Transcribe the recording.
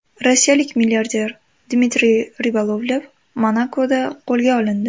Rossiyalik milliarder Dmitriy Ribolovlev Monakoda qo‘lga olindi.